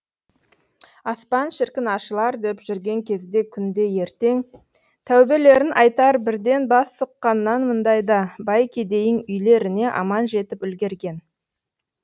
аспан шіркін ашылар деп жүрген кезде күнде ертең тәубелерін айтар бірден бас сұққаннан мұндайда бай кедейің үйлеріне аман жетіп үлгерген